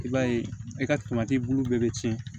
I b'a ye e ka bulu bɛɛ bɛ tiɲɛ